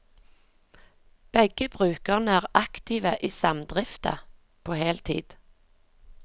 Begge brukerne er aktive i samdrifta på heltid.